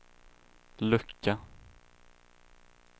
lucka